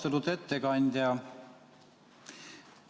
Austatud ettekandja!